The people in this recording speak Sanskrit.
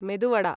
मेदु वडा